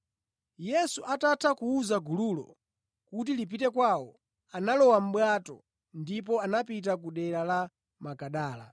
Yesu atatha kuwuza gululo kuti lipite kwawo, analowa mʼbwato ndipo anapita kudera la Magadala.